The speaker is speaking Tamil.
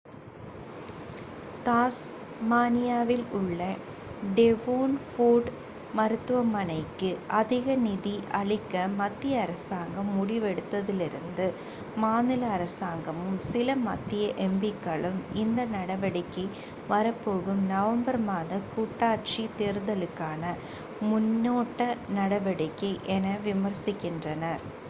தாஸ்மானியாவில் உள்ள டேவோன்போர்ட் மருத்துவமனைக்கு அதிக நிதி அளிக்க மத்திய அரசாங்கம் முடிவெடுத்ததிலிருந்து மாநில அரசாங்கமும் சில மத்திய எம்பிக்களும் இந்த நடவடிக்கை வரப்போகும் நவம்பர் மாத கூட்டாட்சி தேரல்தலுக்கான முன்னோட்ட நடவடிக்கை என விமர்சிக்கின்றனர்